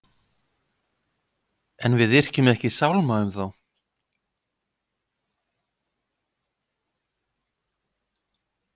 En við yrkjum ekki sálma um þá.